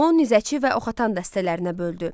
Onu nizəçi və oxatan dəstələrinə böldü.